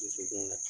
Dusukun na